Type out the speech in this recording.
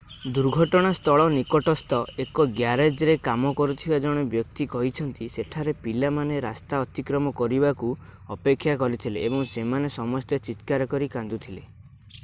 ଦୁର୍ଘଟଣା ସ୍ଥଳ ନିକଟସ୍ଥ ଏକ ଗ୍ୟାରେଜରେ କାମ କରୁଥିବା ଜଣେ ବ୍ୟକ୍ତି କହିଛନ୍ତି ସେଠାରେ ପିଲାମାନେ ରାସ୍ତା ଅତିକ୍ରମ କରିବାକୁ ଅପେକ୍ଷା କରିଥିଲେ ଏବଂ ସେମାନେ ସମସ୍ତେ ଚିତ୍କାର କରି କାନ୍ଦୁଥିଲେ